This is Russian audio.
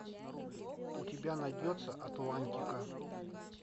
у тебя найдется атлантика